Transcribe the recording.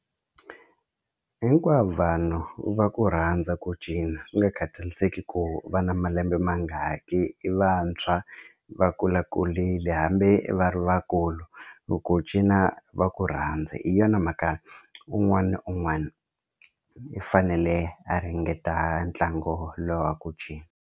Hinkwavo vanhu va ku rhandza ku cina swi nga khathaliseki ku va na malembe mangaki i vantshwa va kulakulile hambi i va ri vakulu loko u cina va ku rhandza hi yona mhaka un'wana na un'wana i fanele a ringeta ntlangu lowu wa ku cina.